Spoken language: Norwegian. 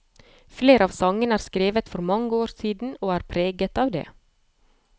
Flere av sangene er skrevet for mange år siden, og er preget av det.